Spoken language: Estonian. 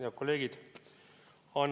Head kolleegid!